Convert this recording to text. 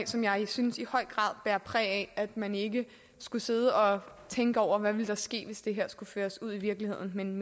som jeg synes i høj grad bærer præg af at man ikke skulle sidde og tænke over hvad der ville ske hvis det her skulle føres ud i livet men